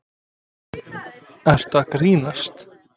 Ertu að grínast?!